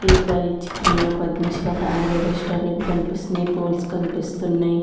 ఈ పై చిత్రంలో పద్మశివ ఫ్యామిలీ రెస్టారెంట్ కనిపిస్తున్నయ్ పోల్స్ కనిపిస్తున్నయ్.